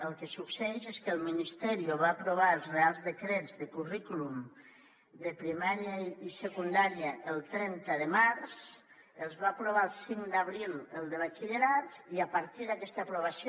el que succeeix és que el ministerio va aprovar els reials decrets de currículum de primària i secundària el trenta de març va aprovar el cinc d’abril el de batxillerat i a partir d’aquesta aprovació